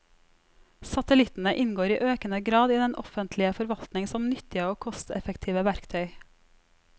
Satellittene inngår i økende grad i den offentlige forvaltning som nyttige og kosteffektive verktøy.